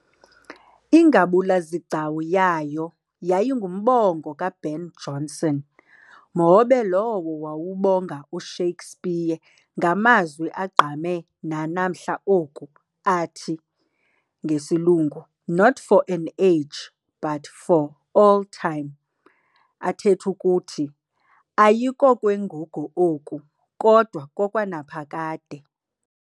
Ingabula-zigcawu yayo yayingumbongo ka-Ben Jonson, mhobe lowo wawubonga u-Shakespeare ngamazwi agqame nanamhla oku athi- "not of an age, but for all time", athetha ukuthi "ayikokwengugo oku, kodwa kokwanaphakade".